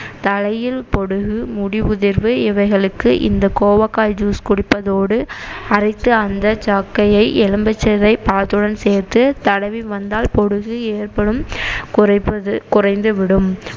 தலையில் பொடுகு, முடிஉதிர்வு இவைகளுக்கு இந்த கோவக்காய் juice குடிப்பதோடு அரைத்து அந்த சக்கையை ஏலும்பும்பிச்சை பழத்துடன் சேர்த்து தடவி வந்தால் பொடுகு ஏற்படும் குறைப்பது குறைந்து விடும்